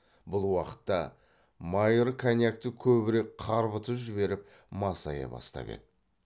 бұл уақытта майыр коньякты көбірек қарбытып жіберіп масая бастап еді